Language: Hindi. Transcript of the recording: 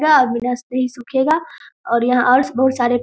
नही सूखेगा और यहां बहुत सारे --